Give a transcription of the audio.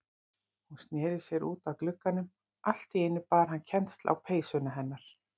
Hún sneri sér út að glugganum, allt í einu bar hann kennsl á peysuna hennar.